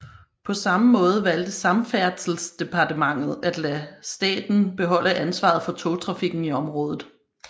På samme måde valgte Samferdselsdepartementet at lade staten beholde ansvaret for togtrafikken i området